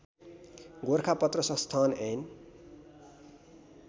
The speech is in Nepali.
गोरखापत्र संस्थान ऐन